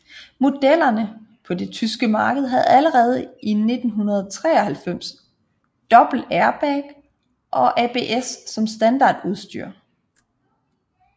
Modellerne på det tyske marked havde allerede i 1993 dobbelt airbag og ABS som standardudstyr